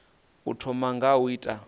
u thoma nga u ita